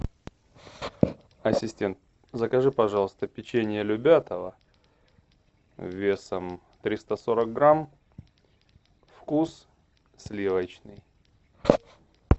ассистент закажи пожалуйста печенье любятово весом триста сорок грамм вкус сливочный